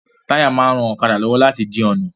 Táyà máa ń ran ọ̀kadà lọ́wọ́ láti di ọ̀nà